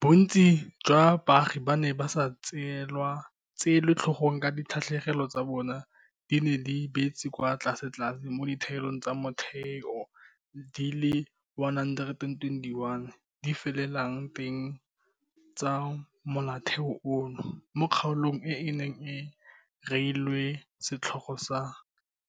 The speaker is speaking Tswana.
Bontsi jwa baagi ba ne ba sa tseelwe tlhogong ka dikgatlhegelo tsa bona di ne di beetswe kwa tlasetlase mo ditaelong tsa motheo di le 121 di felelang teng tsa Molaotheo ono, mo kgaolong e e neng e reilwe setlhogo sa